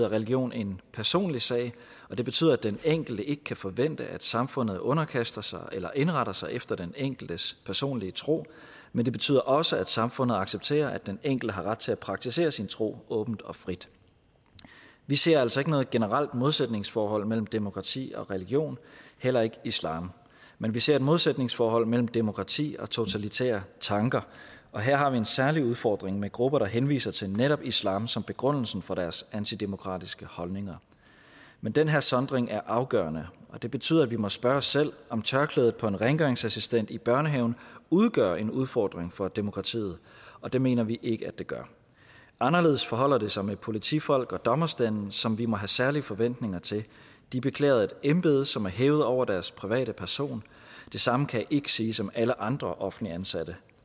religion en personlig sag og det betyder at den enkelte ikke kan forvente at samfundet underkaster sig eller indretter sig efter den enkeltes personlige tro men det betyder også at samfundet accepterer at den enkelte har ret til at praktisere sin tro åbent og frit vi ser altså ikke noget generelt modsætningsforhold mellem demokrati og religion heller ikke islam men vi ser et modsætningsforhold mellem demokrati og totalitære tanker og her har vi en særlig udfordring med grupper der henviser til netop islam som begrundelsen for deres antidemokratiske holdninger men den her sondring er afgørende og det betyder at vi må spørge os selv om tørklædet på en rengøringsassistent i børnehaven udgør en udfordring for demokratiet og det mener vi ikke at det gør anderledes forholder det sig med politifolk og dommerstanden som vi må have særlige forventninger til de beklæder et embede som er hævet over deres private person det samme kan ikke siges om alle andre offentligt ansatte